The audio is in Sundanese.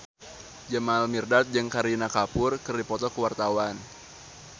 Jamal Mirdad jeung Kareena Kapoor keur dipoto ku wartawan